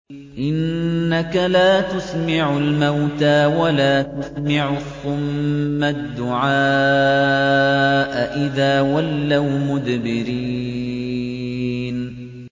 إِنَّكَ لَا تُسْمِعُ الْمَوْتَىٰ وَلَا تُسْمِعُ الصُّمَّ الدُّعَاءَ إِذَا وَلَّوْا مُدْبِرِينَ